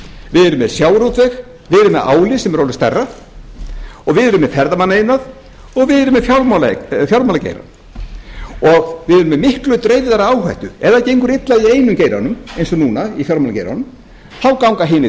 við erum með sjávarútveg við erum með álið sem er orðið stærra og við erum með ferðamannaiðnað og við erum með fjármálageirann við erum með miklu dreifðari áhættu ef það gengur illa í einum geiranum eins og núna í fjármálageiranum þá ganga hinir